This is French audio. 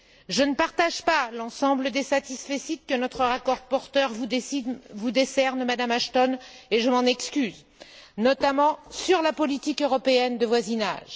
Je ne partage pas l'ensemble des satisfecit que notre rapporteur vous décerne, Madame Ashton, et je m'en excuse, notamment sur la politique européenne de voisinage.